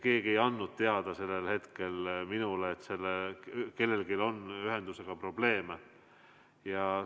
Keegi ei andnud sellel hetkel minule teada, et kellelgi on ühendusega probleeme.